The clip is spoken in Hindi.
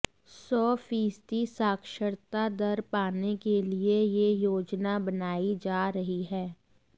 सौ फीसदी साक्षरता दर पाने के लिए यह योजना बनाई जा रही है